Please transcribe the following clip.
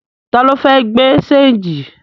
Ta ló fẹ́ gbé ṣéńjì?